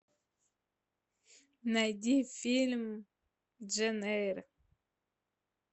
найди фильм джейн эйр